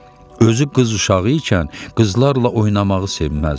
Özü qız uşağı ikən qızlarla oynamağı sevməzdi.